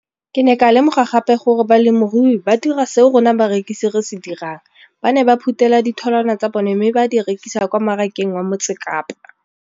Ke ne ka lemoga gape gore balemirui ba dira seo rona barekisi re se dirang - ba ne ba phuthela ditholwana tsa bona mme ba di rekisa kwa marakeng wa Motsekapa.